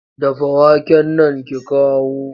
Dafa waken nan ki kawo!